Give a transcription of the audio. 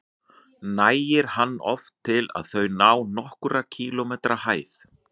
Nægir hann oft til að þau ná nokkurra kílómetra hæð.